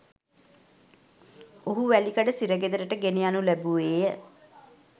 ඔහු වැලිකඩ සිරගෙදරට ගෙනයනු ලැබුවේය